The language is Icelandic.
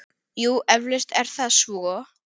Jú, eflaust er það svo.